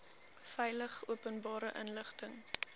veilig openbare inligting